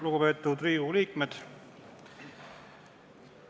Lugupeetud Riigikogu liikmed!